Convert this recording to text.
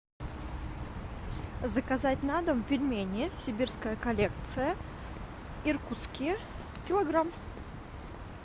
заказать на дом пельмени сибирская коллекция иркутские килограмм